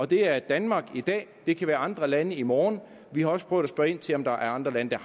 det er danmark i dag det kan være andre lande i morgen vi har også prøvet at spørge ind til om der er andre lande der